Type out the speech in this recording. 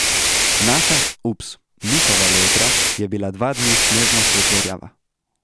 Naša, ups, njihova lojtra je bila dva dni snežno svetlo rjava.